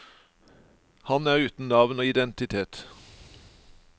Han er uten navn og identitet.